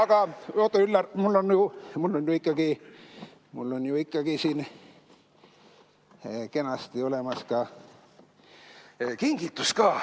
Aga oota, Üllar, mul on ju ikkagi siin kenasti olemas ka kingitus.